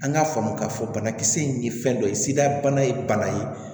An k'a faamu k'a fɔ banakisɛ in ye fɛn dɔ ye sida bana ye bana ye